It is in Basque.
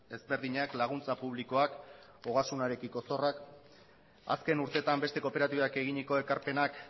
ezberdinak laguntza publikoak ogasunarekiko zorrak azken urteetan beste kooperatibak eginiko ekarpenak